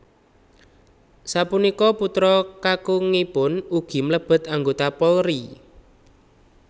Sapunika putra kakungipun ugi mlebet anggota Polri